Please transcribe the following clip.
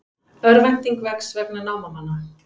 Örvænting vex vegna námamanna